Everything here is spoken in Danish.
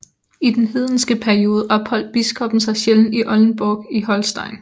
I denne hedenske periode opholdt biskoppen sin sjældent i Oldenburg in Holstein